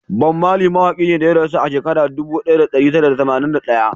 Bob Marley mawaki ne da ya rasu a shekara dubu daya da dari tara da tamanin da daya